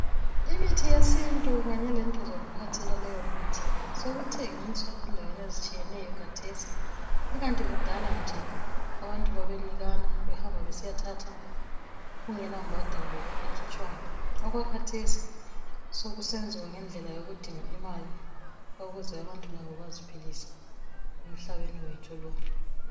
Imithi yesintu kanye lezinto zokuphathela leyomithi sekuthengiswa endaweni ezitshiyeneyo khathesi, ikanti kudala nje, abantu babenikana, behamba besiyathatha kungelambhadalo ekhitshwayo. Okwakhathesi sokusenziwa ngendlela yokudinga imali ukuze abantu labo baziphilise emhlabeni wethu lo.